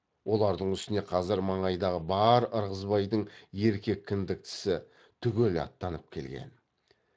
олардың үстіне қазір маңайдағы бар ырғызбайдың еркек кіндіктісі түгел аттанып келген